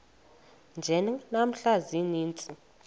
nje namhla ziintsizi